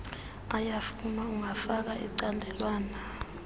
uyafuna ungafaka icandelwana